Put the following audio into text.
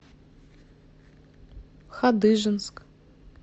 хадыженск